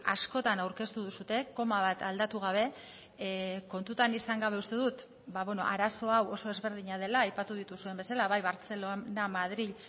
askotan aurkeztu duzue koma bat aldatu gabe kontutan izan gabe uste dut arazo hau oso ezberdina dela aipatu dituzuen bezala bai bartzelona madril